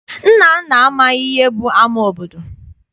Nnanna amaghị ihe bụ ama obodo.